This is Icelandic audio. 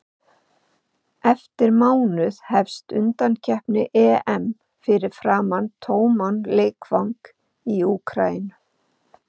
Eftir mánuð hefst undankeppni EM fyrir framan tóman leikvang í Úkraínu.